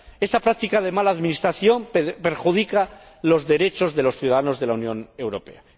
Esta práctica de mala administración perjudica los derechos de los ciudadanos de la Unión Europea.